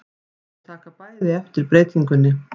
Þau taka bæði eftir breytingunni.